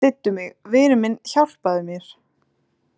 Styddu mig, vinur minn, hjálpaðu mér.